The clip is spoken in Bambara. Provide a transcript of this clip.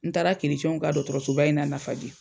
N taara kiricɛnw ka dɔgɔtɔrɔsoba in na Lafiyabugu.